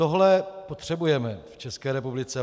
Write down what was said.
Tohle potřebujeme v České republice.